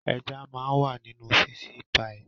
Ẹja máa ń wà nínú fíṣí paì